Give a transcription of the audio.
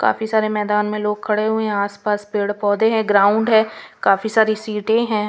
काफी सारे मैदान में लोग खड़े हुए हैं आसपास पेड़-पौधे हैं ग्राउंड है काफी सारी सीटें हैं.